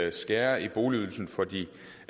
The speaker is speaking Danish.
at skære i boligydelsen for de